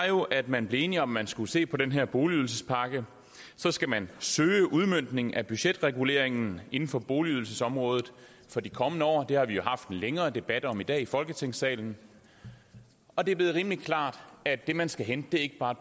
jo at man blev enige om at man skulle se på den her boligydelsespakke så skal man søge udmøntningen af budgetreguleringen inden for boligydelsesområdet for de kommende år det har vi jo haft en længere debat om i dag i folketingssalen og det er blevet rimelig klart at det man skal hente ikke bare